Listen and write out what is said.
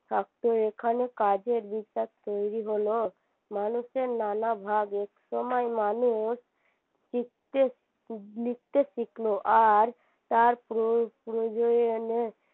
থাকতো এখানে কাজের বিশ্বাস তৈরী হলো মানুষের নানা ভাগ একসময় মানুষ লিখতে শিখলো আর তার প্রয়োজনে